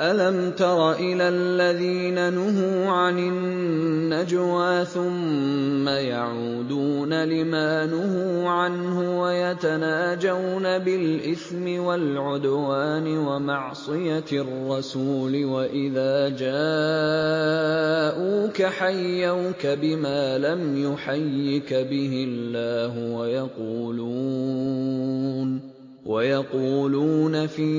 أَلَمْ تَرَ إِلَى الَّذِينَ نُهُوا عَنِ النَّجْوَىٰ ثُمَّ يَعُودُونَ لِمَا نُهُوا عَنْهُ وَيَتَنَاجَوْنَ بِالْإِثْمِ وَالْعُدْوَانِ وَمَعْصِيَتِ الرَّسُولِ وَإِذَا جَاءُوكَ حَيَّوْكَ بِمَا لَمْ يُحَيِّكَ بِهِ اللَّهُ وَيَقُولُونَ فِي